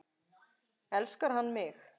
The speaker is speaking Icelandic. Elskar hann mig?